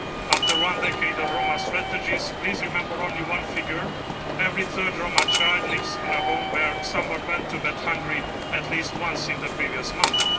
After one decade of Roma strategies, please remember only one figure every third Roma child lives in a home where someone went to bed hungry at least once in the previous month.